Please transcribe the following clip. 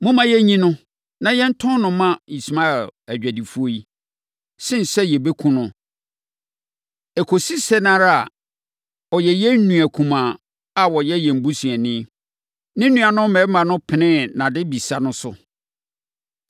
Momma yɛnyi no, na yɛntɔn no mma Ismaelfoɔ adwadifoɔ yi, sene sɛ yɛbɛkum no. Ɛkɔsi sɛn ara a, ɔyɛ yɛn nua kumaa a ɔyɛ yɛn busuani.” Ne nuanom mmarima no penee nʼadebisa no so.